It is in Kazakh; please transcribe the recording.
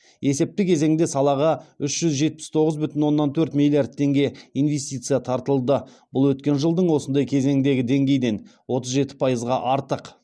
есепті кезеңде салаға үш жүз жетпіс тоғыз бүтін оннан төрт миллиард теңге инвестиция тартылды бұл өткен жылдың осындай кезеңіндегі деңгейден отыз жеті пайызға артық